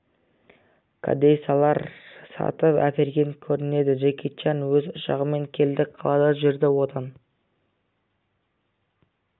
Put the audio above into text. кәдесыйлар сатып әперген көрінеді джеки чан өз ұшағымен келді қалада жүрді одан